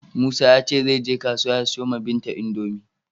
Musa ya ce zai je kasuwa ya siyo wa Binta Indomi.